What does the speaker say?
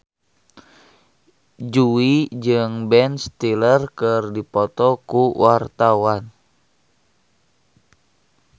Jui jeung Ben Stiller keur dipoto ku wartawan